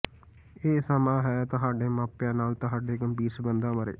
ਇਹ ਸਮਾਂ ਹੈ ਤੁਹਾਡੇ ਮਾਪਿਆਂ ਨਾਲ ਤੁਹਾਡੇ ਗੰਭੀਰ ਸੰਬੰਧਾਂ ਬਾਰੇ